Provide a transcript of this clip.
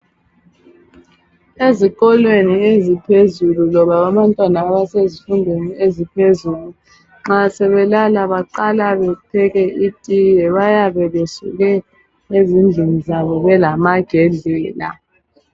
Ezikolweni eziphezulu loba abantwana abasezifundweni eziphezulu, nxa sebelala baqala bepheke itiye bayabe besuke ezindlini zabo belamagedlela.